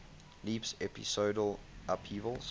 leaps episodal upheavals